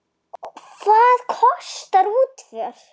Hvað kostar útför?